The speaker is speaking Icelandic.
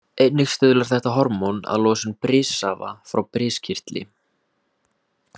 Einnig stuðlar þetta hormón að losun brissafa frá briskirtli.